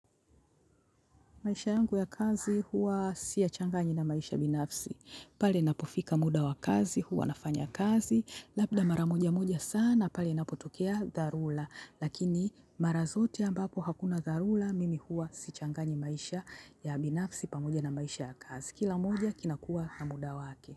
Maisha yangu ya kazi huwa siya changanyi na maisha binafsi. Pale napofika muda wa kazi, huwa nafanya kazi. Labda maramoja moja sana, pale napotokea dharula. Lakini marazote ambapo hakuna dharula, mimi huwa si changanyi maisha ya binafsi pamoja na maisha ya kazi. Kila moja kinakuwa na muda wake.